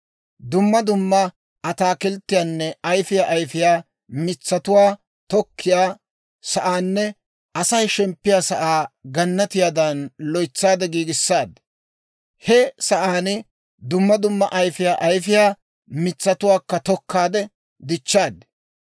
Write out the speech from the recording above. Dumma dumma ataakilttiyaanne ayifiyaa ayifiyaa mitsatuwaa tokkiyaa sa'aanne Asay shemppiyaa sa'aa gannatiyaadan loytsaade giigissaaddi. He sa'aan dumma dumma ayifiyaa ayifiyaa mitsatuwaakka tokkaade, dichchaad.